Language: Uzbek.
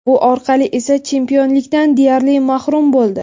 Bu orqali esa chempionlikdan deyarli mahrum bo‘ldi.